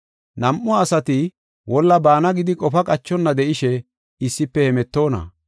Nam7u asati wolla baana gidi qofa qachonna de7ishe issife hemetoona?